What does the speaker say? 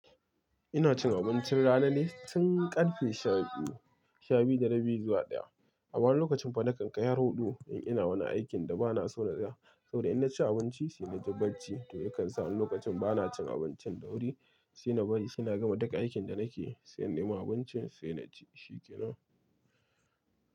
Ina cin abincin rana ne tun karfe sha biyu, sha biyu da rabi zuwa ɗaya. Wani lokacin fa nakankai har huɗu in ina wani aikin da ba na so na ga. Saboda in na ci abinci sai na ji barci toh ya kan sa ni lokacin ba na cin abincin da wuri sai na bari sai na gama duk aikin da na ke, sai in nemo abincin sai na ci shi ke nan.